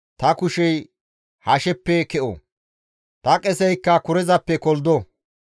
ta kushey hasheppe ke7o. Ta qeseykka kurezappe koldo.